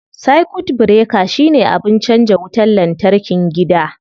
Circuit breaker shine abin canza wutar lantarkin gida.